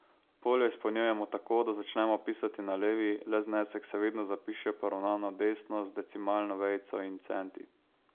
Polja izpolnjujemo tako, da začnemo pisati na levi, le znesek se vedno zapiše poravnano desno, z decimalno vejico in centi.